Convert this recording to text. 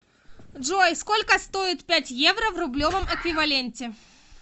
джой сколько стоит пять евро в рублевом эквиваленте